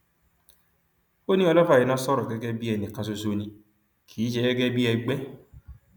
ó ní ọlọfà iná sọrọ gẹgẹ bíi ẹnì kan ṣoṣo ni kì í ṣe gẹgẹ bíi ẹgbẹ